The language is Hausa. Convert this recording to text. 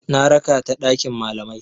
Na raka ta ɗakin malamai.